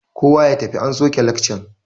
Kowa ya tafi an soke lekcan!